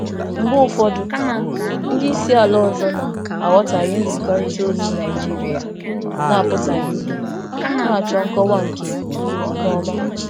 Mgbe ụfọdụ, ndị oga si mba mba ọzọ aghọtahị nkwurịta okwu Naịjirịa na-abụghị ozugbo, na-achọ nkọwa nke ọma.